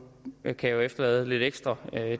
kan jeg jo efterlade lidt ekstra